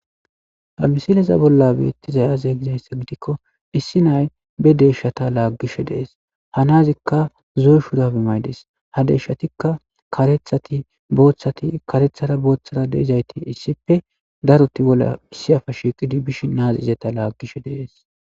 Hamisileza bolla beettizayaze gizaysse gidikko issi nay be deshata laaggishe dees ha nazikka zoy shudabimaydes ha deshatikka karethatiboththati karethara booththara deizayti issippe daruti bolla issi afa shiiqidi bishi naazi izeta laaggishe dees.